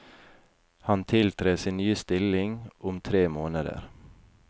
Han tiltrer sin nye stilling om tre måneder.